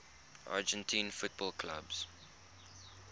argentine football clubs